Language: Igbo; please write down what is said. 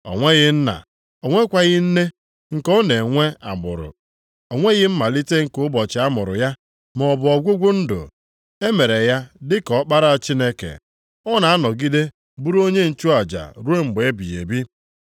O nweghị nna, o nwekwaghị nne, nke ọ na-enwe agbụrụ. O nweghị mmalite nke ụbọchị a mụrụ ya, maọbụ ọgwụgwụ ndụ, e mere ya dị ka Ọkpara Chineke. Ọ na-anọgide bụrụ onye nchụaja ruo mgbe ebighị ebi.